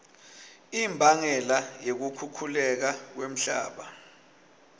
imbangela yekukhukhuleka kwemhlaba